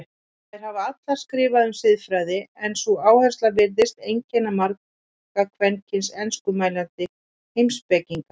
Þær hafa allar skrifað um siðfræði en sú áhersla virðist einkenna marga kvenkyns enskumælandi heimspekinga.